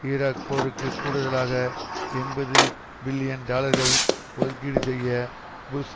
Iraq போருக்கு கூடுதலாக எண்பது பில்லியன் டாலர்கள் ஒதுக்கீடு செய்ய புஷ்